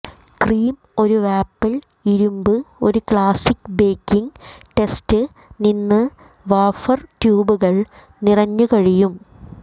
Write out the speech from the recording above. cream ഒരു waffle ഇരുമ്പ് ഒരു ക്ലാസിക് ബേക്കിംഗ് ടെസ്റ്റ് നിന്ന് വഫർ ട്യൂബുകൾ നിറഞ്ഞു കഴിയും